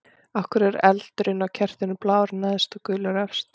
Af hverju er eldurinn á kertinu blár neðst og gulur efst?